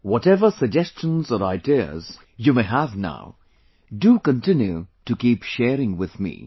Whatever suggestions or ideas you may have now, do continue to keep sharing with me